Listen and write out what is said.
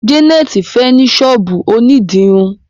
Janet fè ní sọ́ọ̀bù òní dirun.